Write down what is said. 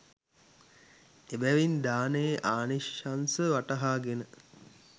එබැවින් දානයේ ආනිශංස වටහාගෙන